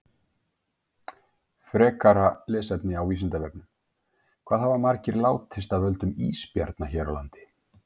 Frekara lesefni á Vísindavefnum: Hvað hafa margir látist af völdum ísbjarna hér á landi?